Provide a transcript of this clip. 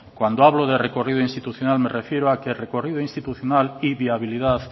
cuando hablo de recorrido institucional me refiero a que recorrido institucional y viabilidad